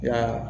Nka